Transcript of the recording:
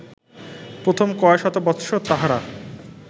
প্রথম কয় শত বৎসর তাঁহারা